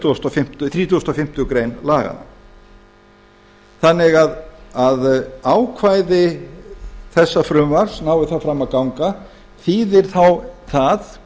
þrítugasta og fimmtu grein laganna ákvæði þessa frumvarps nái það fram að ganga þýðir þá það